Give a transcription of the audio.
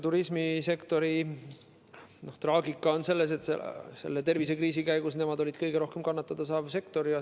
Turismisektori traagika on selles, et selle tervisekriisi käigus on see kõige rohkem kannatada saav sektor.